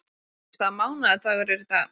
Hafdís, hvaða mánaðardagur er í dag?